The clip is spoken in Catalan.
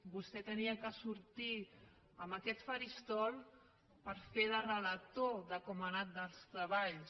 vostè havia de sortir a aquest faristol per fer de relator de com han anat els treballs